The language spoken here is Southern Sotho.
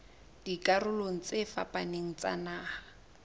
dikarolong tse fapaneng tsa naha